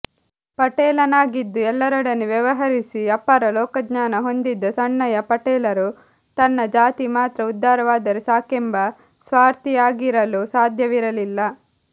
ಪಟೇಲನಾಗಿದ್ದು ಎಲ್ಲರೊಡನೆ ವ್ಯವಹರಿಸಿ ಅಪಾರ ಲೋಕಜ್ಞಾನ ಹೊಂದಿದ್ದ ಸಣ್ಣಯ್ಯ ಪಟೇಲರು ತನ್ನ ಜಾತಿ ಮಾತ್ರ ಉದ್ಧಾರವಾದರೆ ಸಾಕೆಂಬ ಸ್ವಾರ್ಥಿಯಾಗಿರಲು ಸಾಧ್ಯವಿರಲಿಲ್ಲ